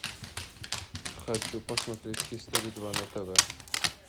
хочу посмотреть хистори два на тв